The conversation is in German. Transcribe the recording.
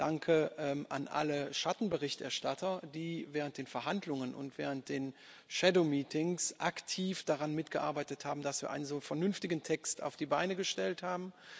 Danke an alle Schattenberichterstatter, die während der Verhandlungen und während der aktiv daran mitgearbeitet haben, dass wir einen so vernünftigen Text auf die Beine gestellt haben.